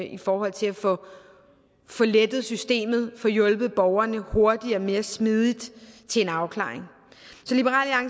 i forhold til at få lettet systemet og få hjulpet borgerne hurtigere mere smidigt til en afklaring